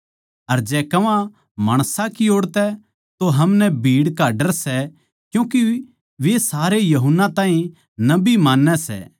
अर जै कह्वां माणसां की ओड़ तै तो हमनै भीड़ का डर सै क्यूँके वे सारे यूहन्ना ताहीं नबी मान्नै सै